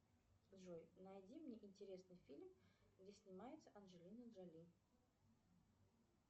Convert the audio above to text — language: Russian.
джой найди мне интересный фильм где снимается анджелина джоли